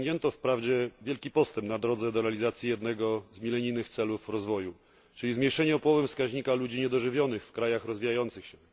Osiągnięto wprawdzie wielki postęp na drodze do realizacji jednego z milenijnych celów rozwoju, czyli zmniejszenie o połowę wskaźnika ludzi niedożywionych w krajach rozwijających się.